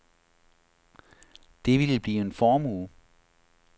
Det ville blive en formue.